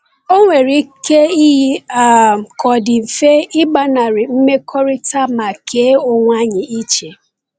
Ọ nwere ike iyi um ka ọ dị mfe ịgbanarị mmekọrịta ma kee onwe anyị iche.